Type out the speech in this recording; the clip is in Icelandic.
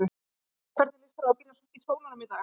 María: Hvernig líst þér á að byrja í skólanum í dag?